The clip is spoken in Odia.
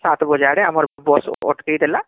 ସାତ ବଜେ ଆଡେ ଆମର bus ଅଟକେଇଦେଲା